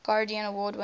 guardian award winners